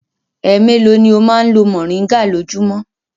Ẹ mélòó ni ó máa ń lo mòríngà lójúmọ́?